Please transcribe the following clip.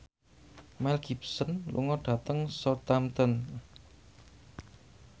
Mel Gibson lunga dhateng Southampton